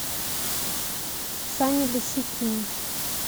сане лисицыне